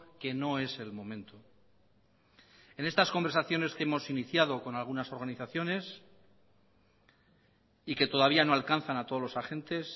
que no es el momento en estas conversaciones que hemos iniciado con algunas organizaciones y que todavía no alcanzan a todos los agentes